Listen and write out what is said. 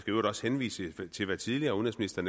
i øvrigt også henvise til hvad tidligere udenrigsminister